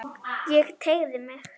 Ég teygði mig.